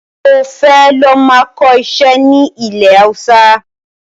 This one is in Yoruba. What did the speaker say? Mo fẹ́ lọ máa kọ ìṣe ni ilẹ̀ Hausa